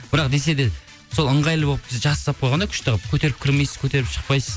бірақ десе де сол ыңғайлы болып жақсы жасап қойған да күшті қылып көтеріп мінбейсіз көтеріп шықпайсыз